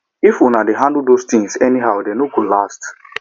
if una dey handle those things anyhow dey no go last